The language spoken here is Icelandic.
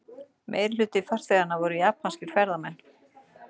Meirihluti farþeganna voru japanskir ferðamenn